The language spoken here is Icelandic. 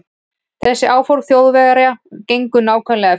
Þessi áform Þjóðverja gengu nákvæmlega eftir.